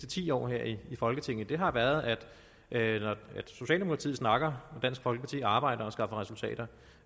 ti år her i folketinget har været at socialdemokratiet snakker og dansk folkeparti arbejder og skaffer resultater